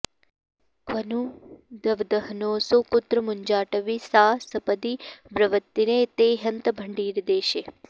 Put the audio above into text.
क्वनु दवदहनोऽसौ कुत्र मुञ्जाटवी सा सपदि ववृतिरे ते हन्त भण्डीरदेशे